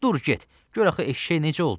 Dur get, gör axı eşşək necə oldu?